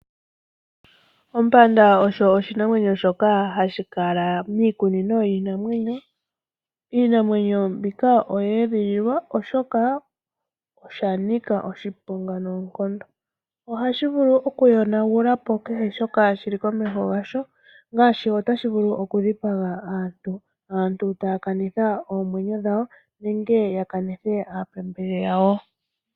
Ompanda osho oshinamwenyo shoka hashi kla miikunino yiinamwenyo. Iinamwenyo mbika oya edhililwa oshoka osha nika oshiponga noonkondo, ohashi okuyonagulapo kehe shoka shi li komeho gasho, ngaasbi otashi vulu okudhipaga aantu. Aantu taya kanitha olmwenyo dhawo, nenge ya kanithe aapambele yawo.